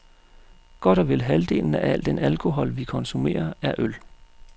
Godt og vel halvdelen af al den alkohol, vi konsumerer, er øl.